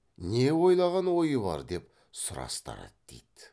не ойлаған ойы бар деп сұрастырады дейді